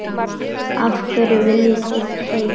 Af hverju viljið þið hey!